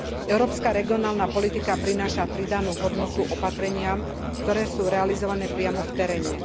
Európska regionálna politika prináša pridanú hodnotu opatreniam, ktoré sú realizované priamo v teréne.